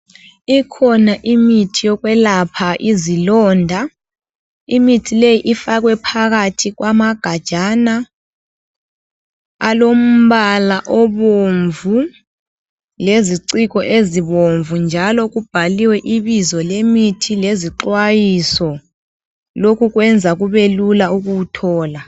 Ikhona imithi yokwelapha izilonda, imithi le ifakwe phakathi kwamagajana alombala obomvu leziciko ezibomvu njalo kubhaliwe ibizo lemithi lezixayiso lokhu kwenza kube lula ukuwuthola.